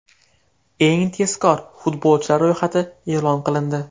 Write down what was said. Eng tezkor futbolchilar ro‘yxati e’lon qilindi.